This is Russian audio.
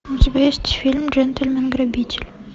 у тебя есть фильм джентельмен грабитель